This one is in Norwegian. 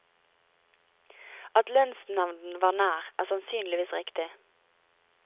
At lønnsnevnden var nær, er sannsynligvis riktig.